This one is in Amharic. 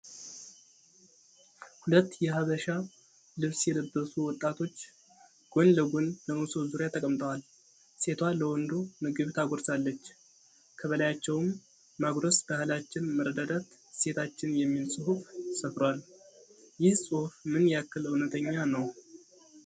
ሁለት የሃበሻ ልብስ የለበሱ ወጣቶች ጎን ለጎን በመሶብ ዙሪያ ተቀምጠዋል። ሴቷ ለወንዱ ምግብ ታጎርሰዋለች። ከበላያቸውም ማጉረስ ባህላችን መረዳዳት እሴታችን የሚል ጽሁፍ ሰፍሯል። ይህ ጽሁፍ ምን ያክል እውነተኛ ነው?